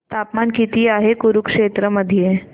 तापमान किती आहे कुरुक्षेत्र मध्ये